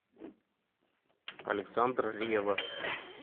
александр ревва